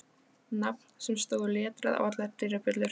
Nafn sem stóð letrað á allar dyrabjöllur.